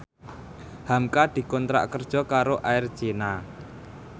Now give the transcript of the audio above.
hamka dikontrak kerja karo Air China